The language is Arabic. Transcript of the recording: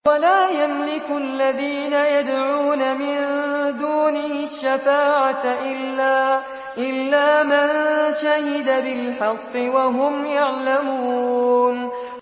وَلَا يَمْلِكُ الَّذِينَ يَدْعُونَ مِن دُونِهِ الشَّفَاعَةَ إِلَّا مَن شَهِدَ بِالْحَقِّ وَهُمْ يَعْلَمُونَ